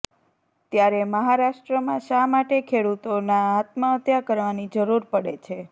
ત્યારે મહારાષ્ટ્રમાં શા માટે ખેડુતોના આત્મહત્યા કરવાની જરૂર પડે છે